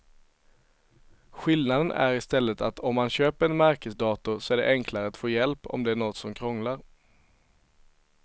Skillnaden är i stället att om man köper en märkesdator så är det enklare att få hjälp om det är något som krånglar.